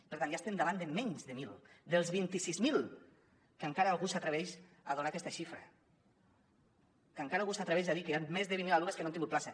per tant ja estem davant de menys de mil dels vint sis mil que encara algú s’atreveix a donar aquesta xifra que encara algú s’atreveix a dir que hi han més de vint mil alumnes que no han tingut plaça